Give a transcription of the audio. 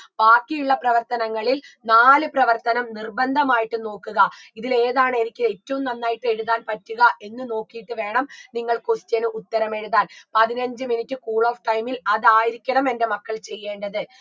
ബാക്കിയുള്ള പ്രവർത്തനങ്ങളിൽ നാല് പ്രവർത്തനം നിർബന്ധമായിട്ടും നോക്കുക ഇതിലേതാണ് എനിക്ക് ഏറ്റവും നന്നായിട്ട് എഴുതാൻ പറ്റുക എന്ന് നോക്കിയിട്ട് വേണം നിങ്ങൾ question ഉത്തരം എഴുതാൻ പതിനഞ്ചു minute cool of time ൽ അതായിരിക്കണം എന്റെ മക്കൾ ചെയ്യേണ്ടത്